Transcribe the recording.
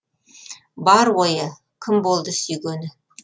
бар ойы кім болды сүйгені